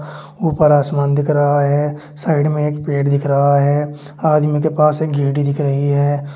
ऊपर आसमान दिख रहा है साइड में एक पेड़ दिख रहा है आदमी के पास एक दिख रही है।